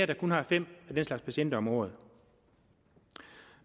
der kun har fem af den slags patienter om året